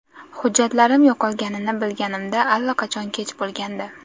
Hujjatlarim yo‘qolganini bilganimda allaqachon kech bo‘lgandi.